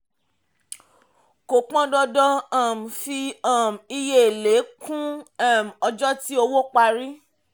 kò pọn dandan um fi um iye èlé kún um ọjọ́ tí owó parí.